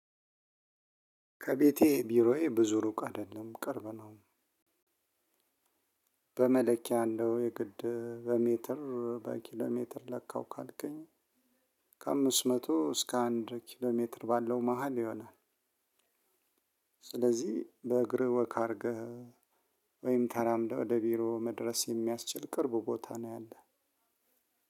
ከቤት ቢሮዬ ብዙ ሩቅ አደለም ቅርብ ነው። በመለኪያ እንደው የግድ በሜትር በኪሎ ሜትር ለካው ካልከኝ። ከ አምስት መቶ እስከ አንድ ኪሎ ሜትር ባለው መሃል ይሆናል። ስለዚህ በእግርህ ወክ አድርገህ ወይም ተራምደህ ወደ ቢሮ መድረስ የሚያስችል ቅርብ ቦታ ነው ያለህ።